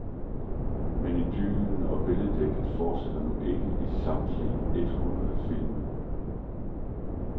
Men idyllen og billeddigtet fortsætter nu ikke i samtlige et hundrede filmminutter.